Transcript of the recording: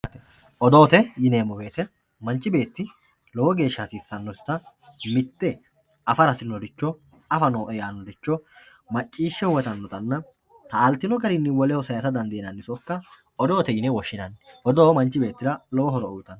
Odoote yineemmoti manchi beettira lowo geeshsha hasiissannosita mitte afara hasirinoricho afa nooe yaannoricho macciishshe huwatannotanna taaltino garii woleho saysa dandaannota odoote yinanni odoo manchi beettira lowo horo uyitanno